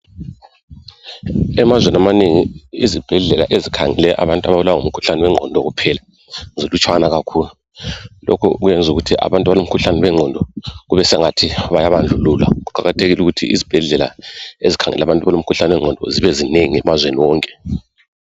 Emazweni amanengi izibhedlela ezikhangele abantu ababulawa ngumkhuhlane wengqondo kuphela zilutshwana kakhulu lokho kwenza ukuthi abantu abalomkhuhlane wengqondo kubesengathi bayabandlululwa kuqakathekile ukuthi izibhedlela ezikhangela abantu abalomkhuhlane wengqondo zibezinengi emazweni wonke